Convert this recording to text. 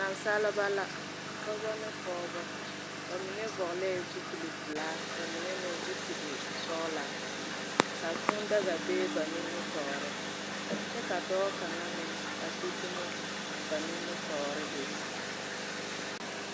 Naasaaliba la dɔba ne pɔgba mene vuglɛɛ zupili pɛlaa ka ba mene meng zɔpili sɔglaa ka kuu daga bɛ ba ningmetouri kye ka dou kanga meng a gbi duma ba ningmetouri bɛ.